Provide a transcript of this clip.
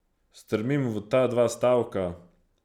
Strmim v ta dva stavka.